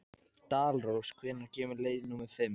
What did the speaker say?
Dalrós, hvenær kemur leið númer fimm?